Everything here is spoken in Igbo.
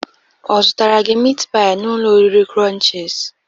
Ọ zutara gi mit pai n'ụlọ oriri Crunchiz?